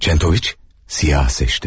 Çentoviç qaranı seçdi.